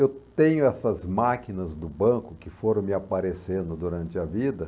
Eu tenho essas máquinas do banco que foram me aparecendo durante a vida.